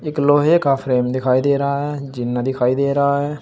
एक लोहे का फ्रेम दिखाई दे रहा है जीना दिखाई दे रहा है।